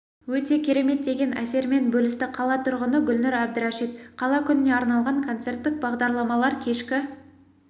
өте керемет деген әсерімен бөлісті қала тұрғыны гүлнұр әбдірашит қала күніне арналған концерттік бағдарламалар кешкі